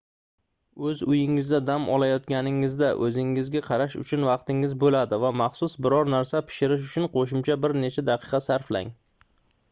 oʻz uyingizda dam olayotganingizda oʻzingizga qarash uchun vaqtingiz boʻladi va maxsus biror narsa pishirish uchun qoʻshimcha bir necha daqiqa sarflang